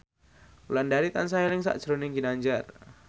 Wulandari tansah eling sakjroning Ginanjar